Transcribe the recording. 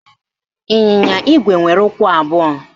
Ịnyịnya Igwe nwere ụkwụ abụọ